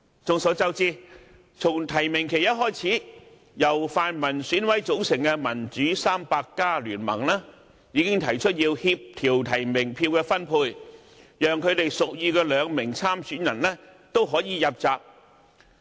眾所周知，從提名期一開始，由泛民選舉委員會委員組成的"民主 300+" 聯盟已經提出要協調提名票的分配，讓他們屬意的兩名候選人都可以入閘。